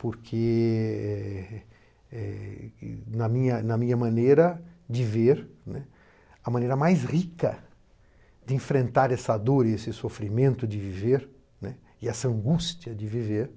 Porque, eh na minha na minha maneira de ver, né, a maneira mais rica de enfrentar essa dor e esse sofrimento de viver, né, e essa angústia de viver,